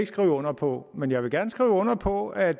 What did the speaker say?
skrive under på men jeg vil gerne skrive under på at